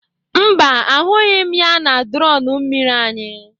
Mba, ahụghị m ya na drọn mmiri anyị.